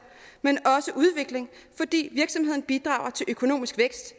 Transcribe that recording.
men også udvikling fordi virksomheden bidrager til økonomisk vækst